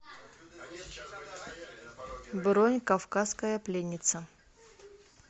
бронь кавказская пленница